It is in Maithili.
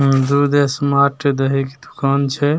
दुध स्मार्ट दही के दुकान छै ।